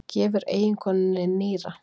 Gefur eiginkonunni nýra